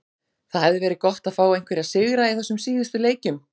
Það hefði verið gott að fá einhverja sigra í þessum síðustu leikjum.